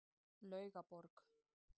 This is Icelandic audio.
Laugaborg